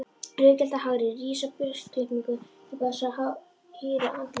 Rauðgyllta hárið rís í burstaklippingu upp af þessu hýra andliti.